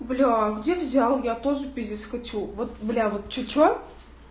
бля где взял я тоже пиздец хочу вот бля вот че че